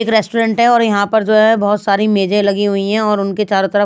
एक रेस्टोरेंट है और यहाँ पर जो है बहुत सारी मेजें लगी हुई हैं और उनके चारों तरफ--